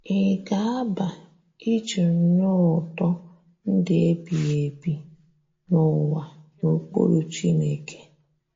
Ị̀ ga - aba iji nụ ụtọ ndụ ebighị ebi, n’ụwa n’okpuru Chineke?